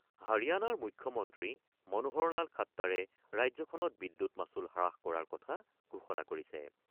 হাৰিয়ানাৰ মুখ্যমন্ত্ৰী মনোহৰলাল খাট্টাৰে ৰাজ্যখনত বিদ্যুৎ মাচুল হ্ৰাস কৰাৰ কথা ঘোষণা কৰিছে।